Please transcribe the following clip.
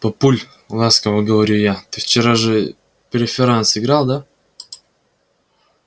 папуль ласково говорю я ты вчера же преферанс играл да